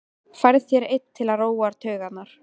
Færð þér einn til að róa taugarnar.